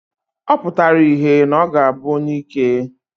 Ọ pụtara ìhè na ọ ga-abụ onyeike.